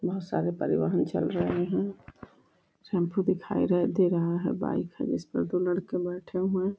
बहोत सारे परिवहन चल रहे हैं। टेम्पो दिखाई र दे रहा है बाइक है जिसपे दो लड़के बैठे हुए हैं।